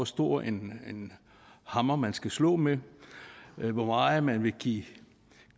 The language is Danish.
stor en hammer man skal slå med hvor meget man vil give